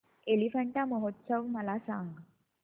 एलिफंटा महोत्सव मला सांग